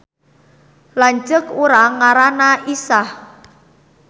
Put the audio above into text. Lanceuk urang ngaranna Isah